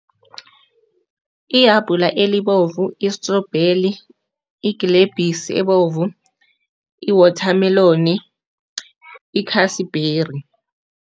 Ihabhula elibovu istrobheli, igilebhisi ebovu, iwothameloni, ikhasibheri.